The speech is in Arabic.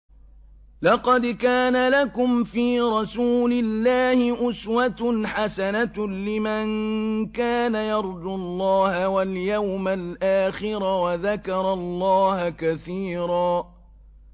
لَّقَدْ كَانَ لَكُمْ فِي رَسُولِ اللَّهِ أُسْوَةٌ حَسَنَةٌ لِّمَن كَانَ يَرْجُو اللَّهَ وَالْيَوْمَ الْآخِرَ وَذَكَرَ اللَّهَ كَثِيرًا